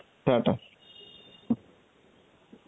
ta ta.